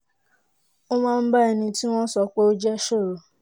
ó máa ń bá ẹni tí wọ́n sọ pé ó jẹ́ sọ̀rọ̀